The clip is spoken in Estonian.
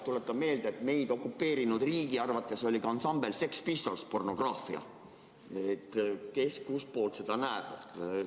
Tuletan meelde, et meid okupeerinud riigi arvates oli ka ansambel Sex Pistols pornograafia – kes kust poolt seda näeb.